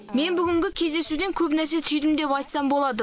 мен бүгінгі кездесуден көп нәрсе түйдім деп айтсам болады